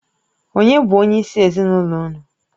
Ònye bụ onyeisi ezinụlọ unu?